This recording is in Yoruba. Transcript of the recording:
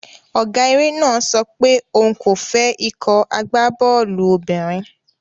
Ọ̀gá eré náà sọ pé òun kò fẹ́ ikọ̀ agbábọ́ọ̀lù obìnrin.